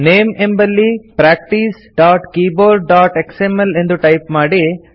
name ಎಂಬಲ್ಲಿ practicekeyboardಎಕ್ಸ್ಎಂಎಲ್ ಎಂದು ಟೈಪ್ ಮಾಡಿ